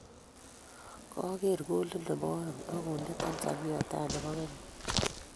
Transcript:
Koger kolit nebo oeng akonde Tanzania tai nebo Kenya .